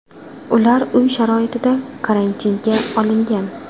Ular uy sharoitida karantinga olingan.